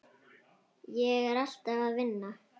Ég er alltaf að vinna.